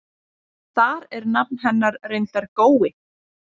Þar er nafn hennar reyndar Gói.